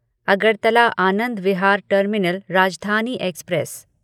Agartala Anand Vihar terminal Rajdhani express